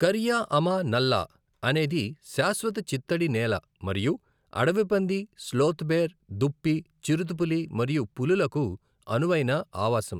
కరియా అమా నల్లా అనేది శాశ్వత చిత్తడి నేల మరియు అడవి పంది, స్లోత్ బేర్, దుప్పి, చిరుతపులి మరియు పులులకు అనువైన ఆవాసం.